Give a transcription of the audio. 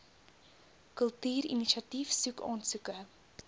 kultuurinisiatief soek aansoeke